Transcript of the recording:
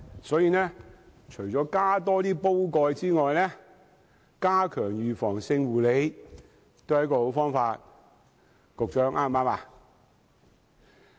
所以，除了增加煲蓋外，加強預防性護理，也是一個好方法。